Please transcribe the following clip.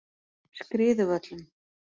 Skriðuvöllum